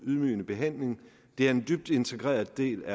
ydmygende behandling det er en dybt integreret del af